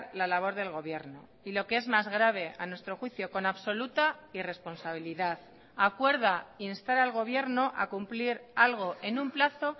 la labor del gobierno y lo que es más grave a nuestro juicio con absoluta irresponsabilidad acuerda instar al gobierno a cumplir algo en un plazo